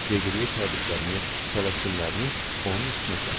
Deqriye təbriklərini, təbəssümlərini onun üstünə səpdi.